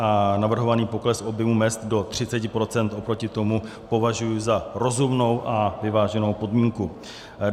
A navrhovaný pokles objemu mezd do 30 % oproti tomu považuji za rozumnou a vyváženou podmínku.